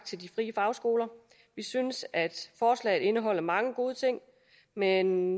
til de frie fagskoler vi synes at forslaget indeholder mange gode ting men